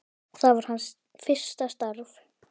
Það var hans fyrsta starf.